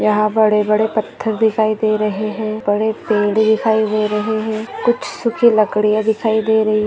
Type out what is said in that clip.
यहा बड़े बड़े पत्थर दिखाई दे रहे है बड़े पेड़ दिखाई दे रहे है कुछ सुखी लकड़िया दिखाई दे रही है।